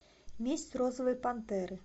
месть розовой пантеры